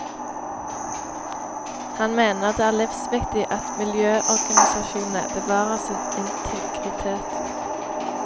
Han mener det er livsviktig at miljøorganisasjonene bevarer sin integritet.